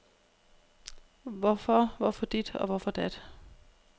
Hvorfor, hvorfor dit og hvorfor dat?